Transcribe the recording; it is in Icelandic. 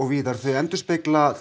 víðar þau endurspegla